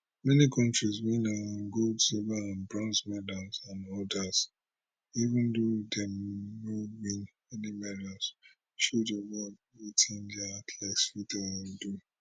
many kontris win um gold silver and bronze medals and odas even though dem no win any medals show di world wetin dia athletes fit um do